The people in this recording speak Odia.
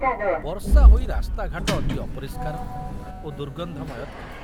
ବର୍ଷା ହୋଇ ରାସ୍ତାଘାଟ ଅତି ଅପରିଷ୍କାର ଓ ଦୁର୍ଗନ୍ଧମୟ ଥିଲା।